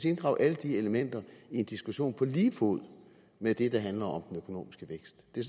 inddrage alle de elementer i en diskussion på lige fod med det der handler om den økonomiske vækst det